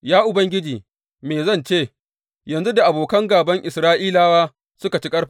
Ya Ubangiji me zan ce, yanzu da abokan gāban Isra’ilawa suka ci ƙarfinsu?